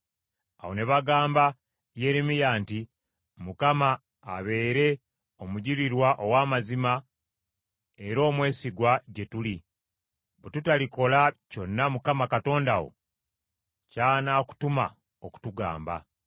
Awo ne bagamba Yeremiya nti, “ Mukama abeere omujulirwa ow’amazima era omwesigwa gye tuli, bwe tutalikola kyonna Mukama Katonda wo ky’anaakutuma okutugamba.